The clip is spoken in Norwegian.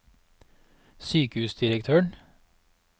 sykehusdirektøren